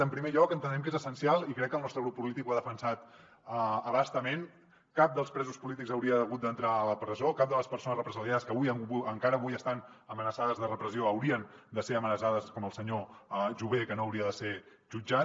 en primer lloc entenem que és essencial i crec que el nostre grup polític ho ha defensat a bastament cap dels presos polítics hauria hagut d’entrar a la presó cap de les persones represaliades que avui encara avui estan amenaçades de repressió haurien de ser amenaçades com el senyor jové que no hauria de ser jutjat